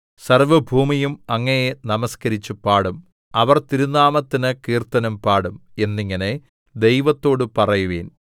സർവ്വഭൂമിയും അങ്ങയെ നമസ്കരിച്ച് പാടും അവർ തിരുനാമത്തിന് കീർത്തനം പാടും എന്നിങ്ങനെ ദൈവത്തോട് പറയുവിൻ സേലാ